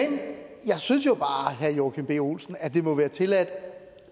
jeg synes jo bare herre joachim b olsen at det må være tilladt